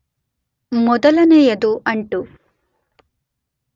ಮೊದಲನೆಯದು ಅಂಟು